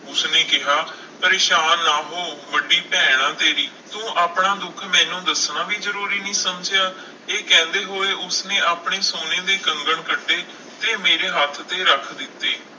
ਉਸਨੇ ਕਿਹਾ ਪਰੇਸਾਨ ਨਾ ਹੋ ਵੱਡੀ ਭੈਣ ਹਾਂ ਤੇਰੀ, ਤੂੰ ਆਪਣਾ ਦੁੱਖ ਮੈਨੂੰ ਦੱਸਣਾ ਵੀ ਜ਼ਰੂਰੀ ਨਹੀਂ ਸਮਝਿਆ, ਇਹ ਕਹਿੰਦੇ ਹੋਏ ਉਸਨੇ ਆਪਣੇ ਸੋਨੇ ਦੇ ਕੰਗਣ ਕੱਢੇ ਤੇ ਮੇਰੇ ਹੱਥ ਤੇ ਰੱਖ ਦਿੱਤੇ।